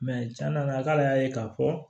a k'ale y'a ye k'a fɔ